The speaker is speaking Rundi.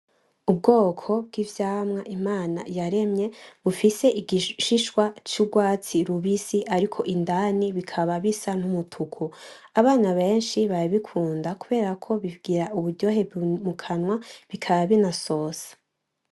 Ubwoko bw'ivyamwa Imana yaremye bufise igishishwa c'urwatsi rubisi ariko indani bikaba bisa n'umutuku abana benshi barabikunda kuberako bigira uburyohe mukanwa binasosa.